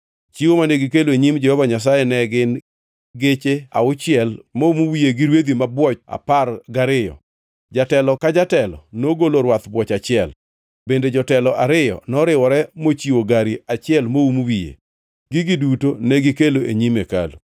Chiwo mane gikelo e nyim Jehova Nyasaye ne gin geche auchiel moum wiye gi rwedhi mabwoch apar gariyo. Jatelo ka jatelo nogolo rwadh bwoch achiel bende jotelo ariyo noriwore mochiwo gari achiel moum wiye. Gigi duto negikelo e nyim hekalu.